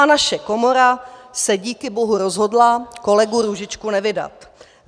A naše komora se díky bohu rozhodla kolegu Růžičku nevydat.